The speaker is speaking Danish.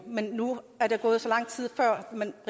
men nu er der gået så lang tid før man